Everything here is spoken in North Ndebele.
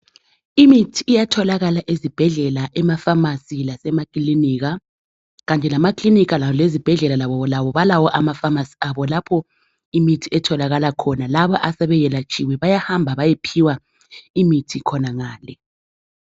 Imithi iyatholakala ezibhedlela, emafamasi lasemakilinika. Kanye lamakilinika lezibhedlela labo balawo amafamasi abo lapho imithi etholakala khona. Laba asebelatshiwe bayahamba bayephiwa imithi khonangale